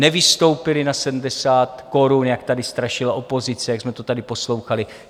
Nevystoupily na 70 korun, jak tady strašila opozice, jak jsme to tady poslouchali.